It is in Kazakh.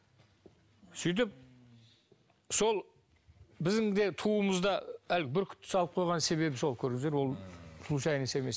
сөйтіп сол біздің де туымызда әлгі бүркітті салып қойған себебі сол көрдіңіздер ол случайность емес